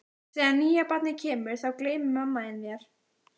Þegar nýja barnið kemur þá gleymir mamma þín þér.